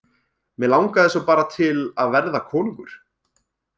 Mig langaði svo bara til að verða konungur.